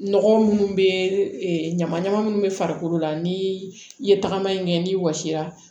Nɔgɔ minnu bɛ ɲama ɲama minnu bɛ farikolo la ni i ye tagama in kɛ n'i wɔsi la